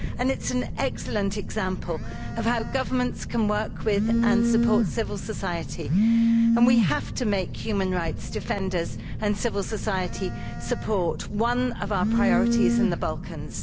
It's an excellent example of how governments can work with and support civil society, and we have to make human rights defenders and civil society support one of our priorities in the Balkans.